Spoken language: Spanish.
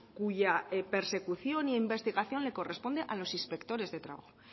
cuya persecución e investigación le corresponde a los inspectores de trabajo